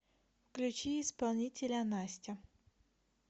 включи исполнителя настя